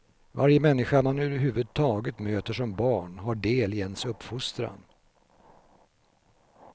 Varje människa man överhuvudtaget möter som barn har del i ens uppfostran.